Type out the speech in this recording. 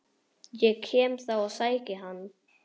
Ég kem þá og sæki hann.